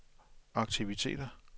aktiviteter